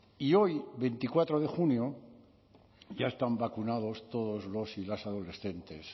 y hoy veinticuatro de junio ya están vacunados todos los y las adolescentes